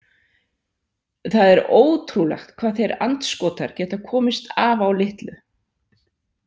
Það er ótrúlegt hvað þeir andskotar geta komist af á litlu.